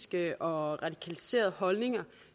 det og